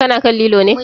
Ka na kan lilo ne?